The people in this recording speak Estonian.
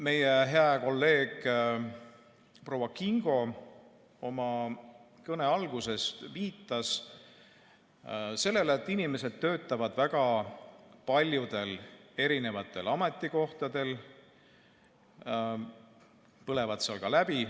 Meie hää kolleeg proua Kingo oma kõne alguses viitas sellele, et inimesed töötavad väga paljudel erinevatel ametikohtadel ja põlevad seal ka läbi.